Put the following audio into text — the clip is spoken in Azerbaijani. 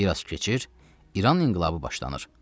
Bir az keçir, İran inqilabı başlanır.